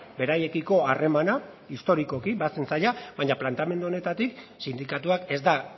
beraiekiko harremana historikoki bazen zaila baina planteamendu honetatik sindikatuak ez da